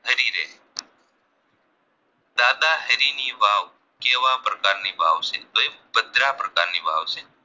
દાદાહરીની વાવ કેવા પ્રકારની વાવ છે તો એ ભદ્રા પ્રકારની વાવ છે